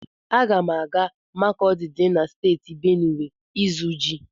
Aga m aga Makọdi dị na Steeti Benuwe ịzụ ji.